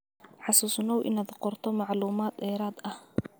Xusuusnow inaad qorto macluumaad dheeraad ah.